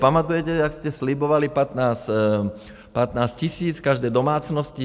Pamatujete, jak jste slibovali 15 000 každé domácnosti?